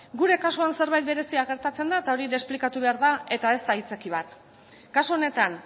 gure kasuan zerbait berezia gertatzen da eta hori ere esplikatu behar da eta ez da aitzakia bat kasu honetan